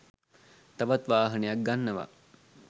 තවත් වාහනයක් ගන්නව